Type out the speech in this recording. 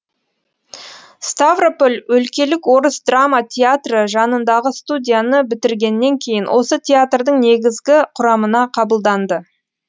ставрополь өлкелік орыс драма театры жанындағы студияны бітіргеннен кейін осы театрдың негізгі құрамына қабылданды